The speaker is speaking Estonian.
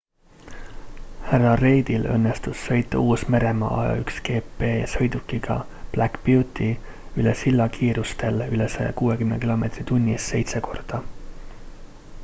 hr reidil õnnestus sõita uus-meremaa a1gp-sõidukiga black beauty üle silla kiirustel üle 160 km/h seitse korda